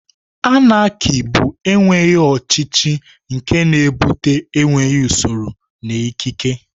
Anarki bụ enweghị ọchịchị, nke na-ebute enweghị usoro na ikike.